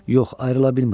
Yox, ayrıla bilmirəm.